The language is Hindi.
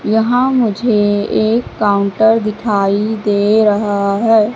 यहां मुझे एक काउंटर दिखाई दे रहा है।